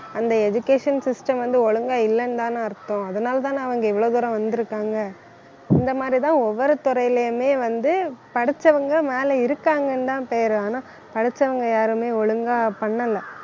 அந்த education system வந்து, ஒழுங்கா இல்லைன்னுதானே அர்த்தம் அதனாலேதான் அவங்க இவ்வளவு தூரம் வந்திருக்காங்க இந்த மாதிரிதான் ஒவ்வொரு துறையிலேயுமே வந்து, படிச்சவங்க மேலே இருக்காங்கன்னுதான் பேரு ஆனா படிச்சவங்க யாருமே ஒழுங்கா பண்ணல